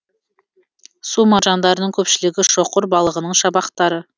су маржандарының көпшілігі шоқыр балығының шабақтары